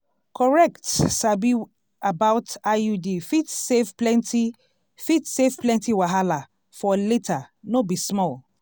correct sabi about iud fit save plenty fit save plenty wahala for later no be small